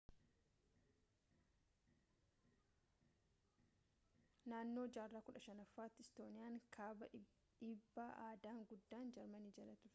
naannoo jarraa 15ffaatti istooniyaan kaabaa dhiibbaa aadaan guddaa jarmanii jala turte